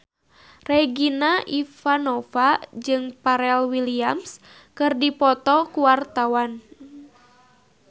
Regina Ivanova jeung Pharrell Williams keur dipoto ku wartawan